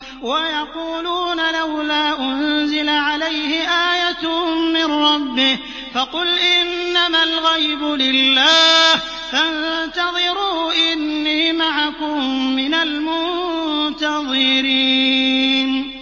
وَيَقُولُونَ لَوْلَا أُنزِلَ عَلَيْهِ آيَةٌ مِّن رَّبِّهِ ۖ فَقُلْ إِنَّمَا الْغَيْبُ لِلَّهِ فَانتَظِرُوا إِنِّي مَعَكُم مِّنَ الْمُنتَظِرِينَ